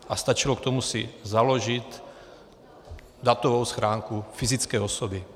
A stačilo k tomu si založit datovou schránku fyzické osoby.